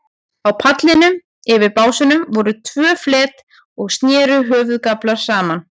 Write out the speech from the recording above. Á pallinum, yfir básunum, voru tvö flet og sneru höfðagaflar saman.